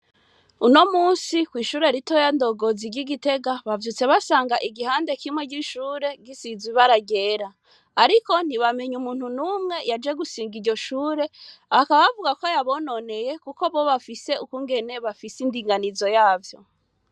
Uno munsi, kw'ishure ritoya Ndongozi ry'i Gitega, bavyutse basanga igihande kimwe c'ishure gisize ibara ryera, ariko ntibamenye umuntu n'umwe yaje gusiga iryo shure, bakaba bavuga ko yabononeye kuko bo bafise ukungene bafise indinganizo yavyo.